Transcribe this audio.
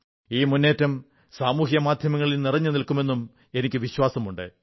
ഈ മുന്നേറ്റം സാമൂഹ്യമാധ്യമങ്ങളിൽ നിറഞ്ഞുനിൽക്കുമെന്നും എനിക്കു വിശ്വാസമുണ്ട്